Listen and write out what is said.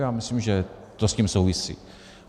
Já myslím, že to s tím souvisí.